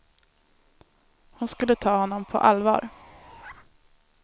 Hon skulle ta honom på allvar.